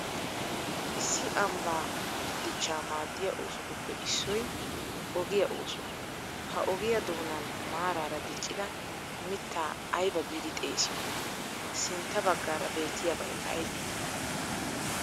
Issi ambaa dichchaa maaddiya oosotuppe issoy ogiya oosuwa, ha ogiya doonaan maaraara diccida mittaa ayba giidi xeessiyoo? Sintta baggara beettiyabay aybee?